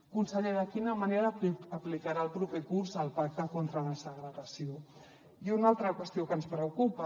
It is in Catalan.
conseller de quina manera aplicarà el proper curs el pacte contra la segregació i una altra qüestió que ens preocupa